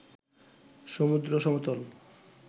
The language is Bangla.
সমূদ্র সমতল